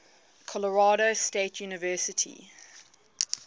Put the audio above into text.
colorado state university